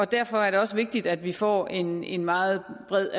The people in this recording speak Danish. derfor er det også vigtigt at vi får en en meget bred